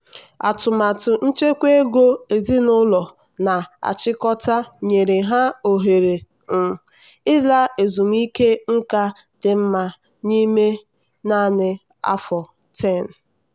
atụmatụ nchekwa ego ezinụlọ na-achịkọta nyere ya ohere um ịla ezumike nká dị mma n'ime naanị afọ 10.